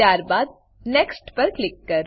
ત્યારબાદ next next પર click કરો